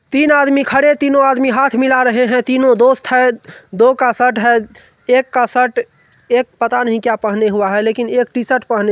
तीन आदमी खड़े तीनों आदमी हाथ मिला रहे हैं तीनों दोस्त हैं दो का शर्ट है एक का शर्ट एक पता नहीं क्या पहने हुआ है लेकिन एक टी-शर्ट पहने हुआ है।